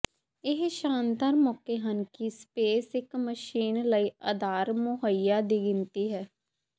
ਇਹ ਸ਼ਾਨਦਾਰ ਮੌਕੇ ਹਨ ਕਿ ਸਪੇਸ ਇਕ ਮਸ਼ੀਨ ਲਈ ਅਧਾਰ ਮੁਹੱਈਆ ਦੀ ਗਿਣਤੀ ਹੈ